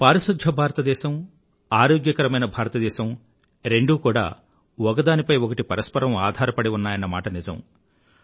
పారిశుధ్య భారత దేశం ఆరోగ్యకరమైన భారతదేశం రెండూ కూడా ఒకదానిపై ఒకటి పరస్పరం ఆధారపడి ఉన్నాయన్న మాట నిజం